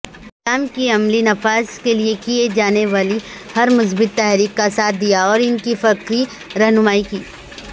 اسلام کےعملی نفاذکےلیےکی جانےوالی ہرمثبت تحریک کاساتھ دیااوران کی فکری رہنمائی کی